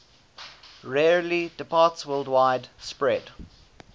rarely departsworldwide spread